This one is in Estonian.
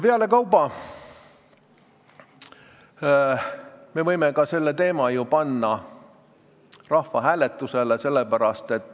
Pealekauba võime selle teema panna ka rahvahääletusele.